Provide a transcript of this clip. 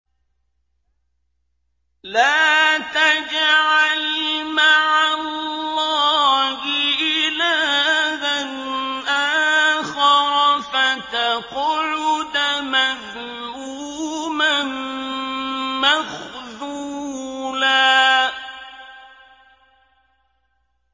لَّا تَجْعَلْ مَعَ اللَّهِ إِلَٰهًا آخَرَ فَتَقْعُدَ مَذْمُومًا مَّخْذُولًا